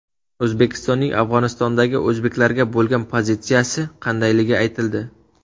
O‘zbekistonning Afg‘onistondagi o‘zbeklarga bo‘lgan pozitsiyasi qandayligi aytildi.